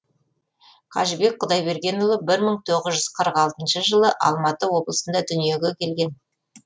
қажыбек құдайбергенұлы бір мың тоғыз жүз қырық алтыншы жылы алматы облысында дүниеге келген